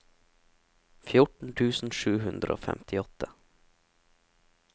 fjorten tusen sju hundre og femtiåtte